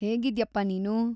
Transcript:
ಹೇಗಿದ್ಯಪ್ಪಾ ನೀನು?